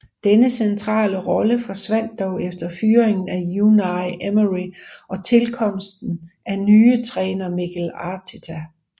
Denne centrale rolle forsvandt dog efter fyringen af Unai Emery og tilkomsten af nye træner Mikel Arteta